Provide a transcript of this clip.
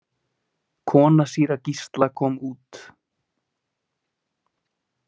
Kona síra Gísla kom út.